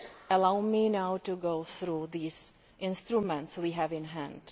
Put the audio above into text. Allow me now to go through these instruments we have in hand.